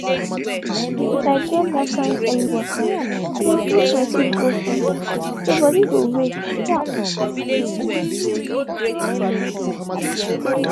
if i get that kain early waka i dey push my sleep go front so body go wake sharp.